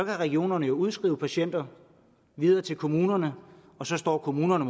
regionerne udskrive patienter videre til kommunerne og så står kommunerne